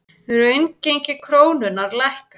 Raungengi krónunnar lækkar